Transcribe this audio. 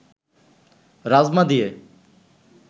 রাজমা দিয়ে